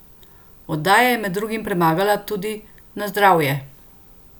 Oddaja je med drugim premagala tudi Na zdravje!